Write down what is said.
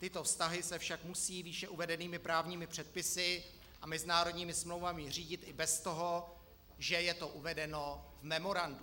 Tyto vztahy se však musí výše uvedenými právními předpisy a mezinárodními smlouvami řídit i bez toho, že je to uvedeno v memorandu.